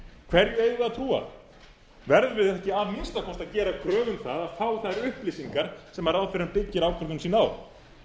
hverju eigum við að trúa verðum við ekki að minnsta kosti gera kröfu um það að fá þær upplýsingar sem ráðherrann byggir ákvörðun sína á